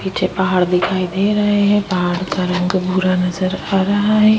पीछे पहाड़ दिखाई दे रहे हैं पहाड़ का रंग पूरा नजर आ रहा है।